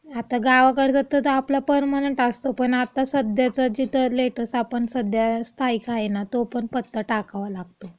आता गावकडचा तर आपला परमनंट असतो. पण आपला सध्याचा लेटस्ट सध्या स्थायिक आहे, ना, तो पण टाकावा लागतो.